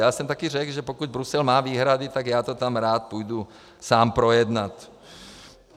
Já jsem také řekl, že pokud Brusel má výhrady, tak já to tam rád půjdu sám projednat.